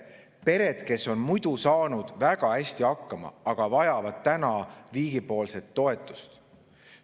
Need pered, kes on muidu saanud väga hästi hakkama, vajavad nüüd riigi toetust.